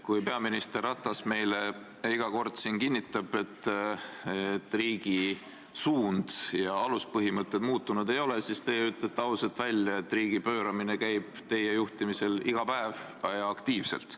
Kui peaminister Ratas meile iga kord siin kinnitab, et riigi suund ja aluspõhimõtted muutunud ei ole, siis teie ütlete ausalt välja, et riigi pööramine käib teie juhtimisel iga päev ja aktiivselt.